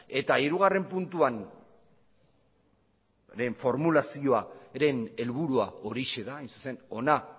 eta hirugarren puntuaren formulazioaren helburua horixe da hain zuzen hona